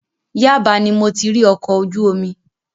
Yaba ni mo ti rí ọkọ̀ ojú omi.